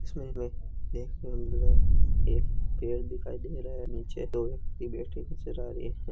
इस में एक पेड नज़र एक पेड़ दिखाई दे रहा है नीचे लोहे की बेट्री नजर आ रही है।